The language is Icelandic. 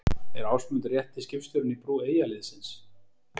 Er Ásmundur rétti skipstjórinn í brú Eyjaliðsins?